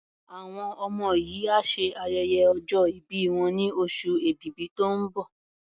Àwọn ọmọ yìí á ṣe ayẹyẹ ọjọ́ ìbí wọn ní oṣù Èbìbí tó ń bọ̀.